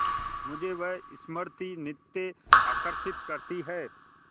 मुझे वह स्मृति नित्य आकर्षित करती है